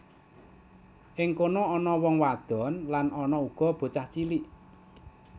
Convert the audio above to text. Ing kono ana wong wadon lan ana uga bocah cilik